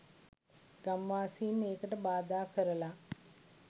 ගම්වාසින් ඒකට බාධා කරල.